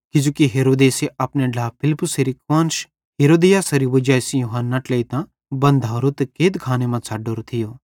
किजोकि हेरोदेसे अपने ढ्लाए फिलिप्पुसेरी कुआन्श हेरोदियासेरी वजाई सेइं यूहन्ना ट्लेइतां बन्धोवरो ते कैदखाने मां छ़डोरो थियो